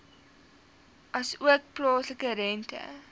asook plaaslike rente